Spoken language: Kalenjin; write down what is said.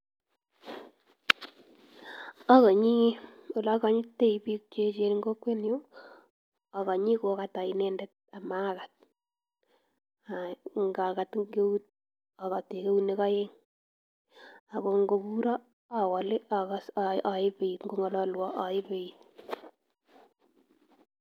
Okoini olekonyititoi biik che echen en kokwenyun okoini kokatan inendet amakat, ak akat eng eut ak akat eng eunek oeng, ak ko ng'o kuron owee olee akas oebit bokong'ololwon oebeit.